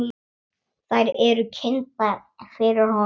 Þær eru kynntar fyrir honum.